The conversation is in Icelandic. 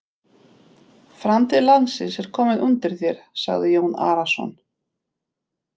Framtíð landsins er komin undir þér, sagði Jón Arason.